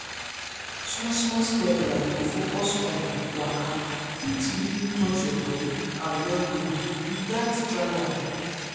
small small steps like to focus on waka fit really touch your body and well-being you gatz try am.